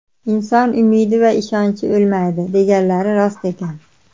Inson umidi va ishonchi o‘lmaydi, deganlari rost ekan.